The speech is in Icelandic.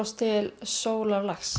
til sólarlags